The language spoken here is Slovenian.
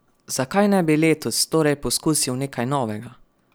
Zakaj ne bi letos torej poskusil nekaj novega?